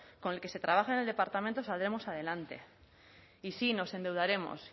con el que se trabaja en el departamento saldremos adelante y sí nos endeudaremos